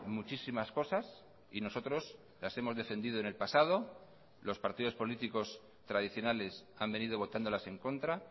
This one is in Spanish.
muchísimas cosas y nosotros las hemos defendido en el pasado los partidos políticos tradicionales han venido votándolas en contra